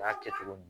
A y'a kɛ cogo di